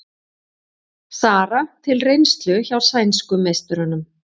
Sara til reynslu hjá sænsku meisturunum